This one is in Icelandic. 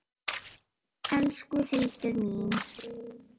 Elsku Hildur mín.